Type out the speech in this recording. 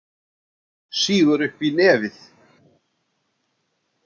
Sýgur upp í nefið.